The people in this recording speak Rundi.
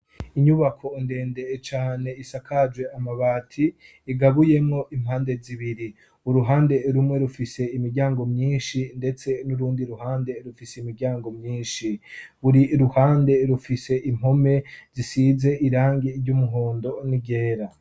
Inyubako ndende cane isakaje amabati, igabuyemo impande zibiri. Uruhande rumwe rufise imiryango myinshi, ndetse n'urundi ruhande rufise imiryango myinshi. Buri ruhande rufise impome zisize irangi ry'umuhondo n'iryera.